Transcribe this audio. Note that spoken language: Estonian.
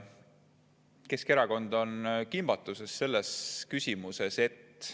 Keskerakond on selles küsimuses kimbatuses.